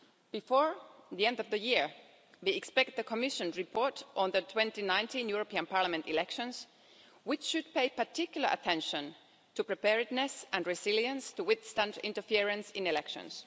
Before the end of the year, we expect the Commission report on the 2019 European Parliament elections, which should pay particular attention to preparedness and resilience, geared to withstanding interference in elections.